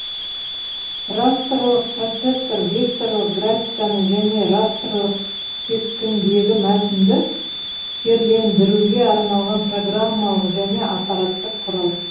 растрлық процессор векторлық графиканы және растрлық кескіндегі мәтінді терлендіруге арналған программалық және аппараттық құрал